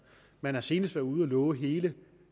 man har senest været ude og love hele